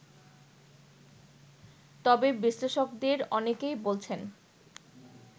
তবে বিশ্লেষকদের অনেকেই বলছেন